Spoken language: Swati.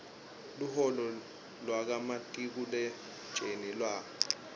luholo lwakamatiku letjezi lwa